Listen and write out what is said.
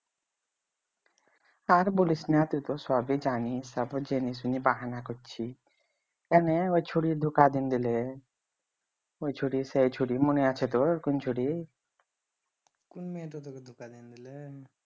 আর বলিস না তুই তো সবই জানিস তারপরও জেনেশুনে বাহানা করছিস